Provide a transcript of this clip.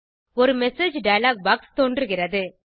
ஒரு message dialog box தோன்றுகிறது